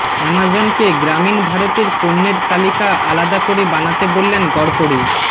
অ্যামাজনকে গ্রামীণ ভারতের পণ্যের তালিকা আলাদা করে বানাতে বললেন গড়কড়ী